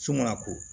So mana ko